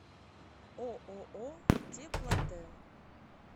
ооо теплотэн